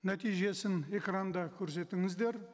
нәтижесін экранда көрсетіңіздер